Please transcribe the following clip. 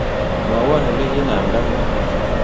Mwawon oleginamnda ng'wony